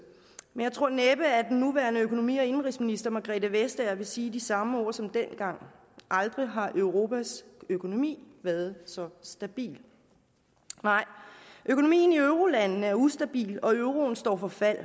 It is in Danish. jeg tror næppe at den nuværende økonomi og indenrigsminister fru margrethe vestager vil sige de samme ord som dengang aldrig har europas økonomi været så stabil nej økonomien i eurolandene er ustabil og euroen står for fald